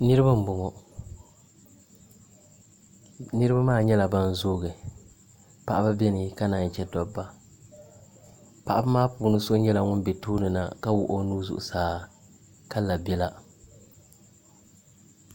Niraba n boŋo niraba maa nyɛla ban zoogi paɣaba biɛni ka naan chɛ dabba paɣaba maa puuni so nyɛla ŋun bɛ tooni na ka wuɣi o nuu zuɣusaa ka la biɛla